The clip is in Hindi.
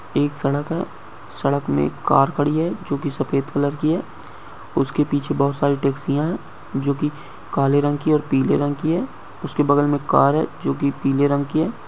एक सड़क है। सड़क मे एक कार खड़ी है जो कि सफेद कलर की है। उसके पीछे बोहोत सारी टैक्सियाँ हैं जो कि काले रंग की है पीले रंग की है। उसके बगल मे एक कार है जो कि पीले रंग की है।